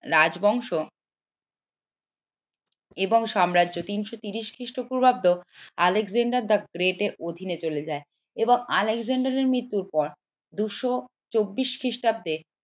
রাজবংশ এবং সাম্রাজ্য তিনশো তিরিশ খ্রিস্টপূর্বাব্দ আলেকজান্ডার the great এর অধীনে চলে যায় এবং আলেকজান্ডারের মৃত্যুর পর দুশো চব্বিশ খ্রিস্টব্দে